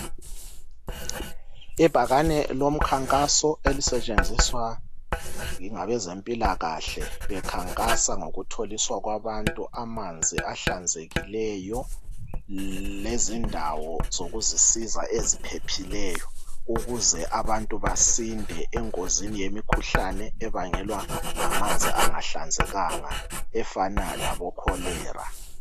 Ibhakane lomkhankaso elisetshenziswa ngabezempilakahle bekhankasa ngokutholiswa abantu amanzi ahlanzekileyo lezindawo zokuzisiza eziphephileyo ukuze abantu basinde engozini yemikhuhlane abangelwa ngamanzi angahlanzekanga efana labokholera.